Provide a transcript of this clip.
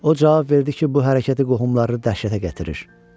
O cavab verdi ki, bu hərəkəti qohumların dəhşətə gətirir.